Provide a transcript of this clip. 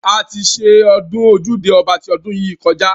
A ti ṣe ọdún ojúde ọba ti ọdún yìí kọjá.